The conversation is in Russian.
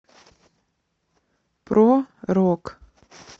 про рок